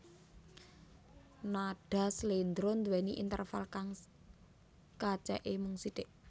Nadha slendro duwéni interval kang kacèké mung sithik